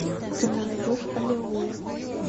ты мне найдешь аллилуйя